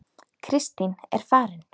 Kristín er farin